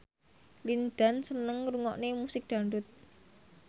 Lin Dan seneng ngrungokne musik dangdut